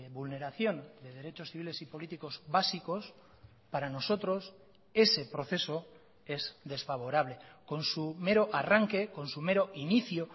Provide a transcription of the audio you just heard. vulneración de derechos civiles y políticos básicos para nosotros ese proceso es desfavorable con su mero arranque con su mero inicio